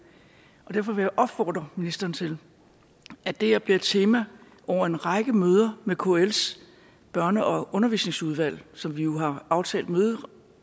derfor vil jeg opfordre ministeren til at det her bliver et tema over en række møder med kls børne og undervisningsudvalg som vi jo har aftalt